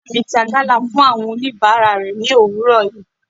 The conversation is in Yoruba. Ìyá mi ta gala fún àwọn oníbàárà rẹ̀ ni òwúrọ̀ yìí.